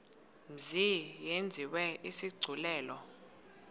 mzi yenziwe isigculelo